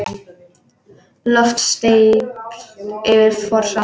Loft steypt yfir forsal.